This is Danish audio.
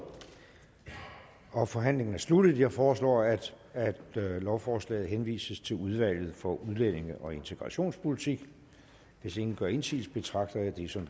og forhandlingen er sluttet jeg foreslår at at lovforslaget henvises til udvalget for udlændige og integrationspolitik hvis ingen gør indsigelse betragter jeg dette som